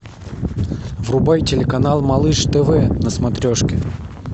врубай телеканал малыш тв на смотрешке